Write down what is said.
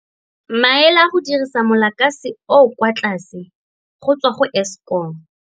Maele a go dirisa mo lakase o o kwa tlase go tswa go Eskom.